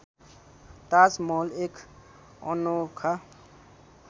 ताजमहल एक अनोखा